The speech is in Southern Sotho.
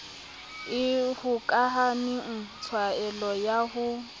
e hokahaneng tlwaelo ya ho